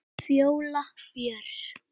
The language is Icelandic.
Fjóla Björk.